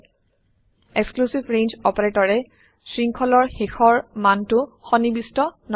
exclusive range অপাৰেটৰে শৃংখলৰ শেষৰ মানটো সন্নিবিষ্ট নকৰে